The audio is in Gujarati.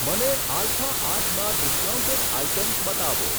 મને આલ્ફા આઠમાં ડિસ્કાઉન્ટેડ આઇટમ્સ બતાવો.